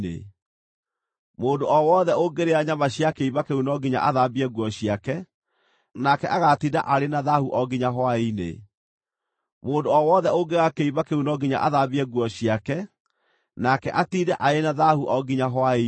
Mũndũ o wothe ũngĩrĩa nyama cia kĩimba kĩu no nginya athambie nguo ciake, nake agaatinda arĩ na thaahu o nginya hwaĩ-inĩ. Mũndũ o wothe ũngĩoya kĩimba kĩu no nginya athambie nguo ciake, nake atiinde arĩ na thaahu o nginya hwaĩ-inĩ.